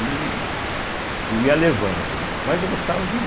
E ia levando né, mas eu gostava de ler.